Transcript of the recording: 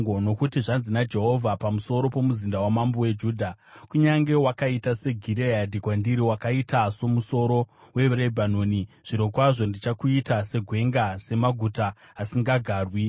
Nokuti zvanzi naJehovha pamusoro pomuzinda wamambo weJudha: “Kunyange wakaita seGireadhi kwandiri, wakaita somusoro weRebhanoni, zvirokwazvo ndichakuita segwenga, semaguta asingagarwi.